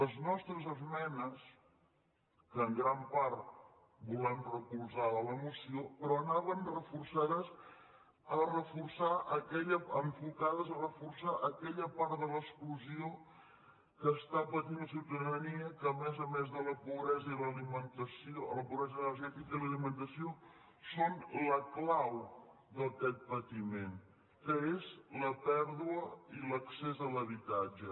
les nostres esmenes que en gran part volem recolzar de la moció però anaven enfocades a reforçar aquella part de l’exclusió que està patint la ciutadania que a més a més de la pobresa energètica i l’alimentació són la clau d’aquest patiment que és la pèrdua i l’accés a l’habitatge